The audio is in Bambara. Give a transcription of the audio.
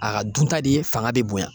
A ka dun ta de ye fanga be bonya.